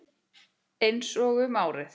Einsog um árið.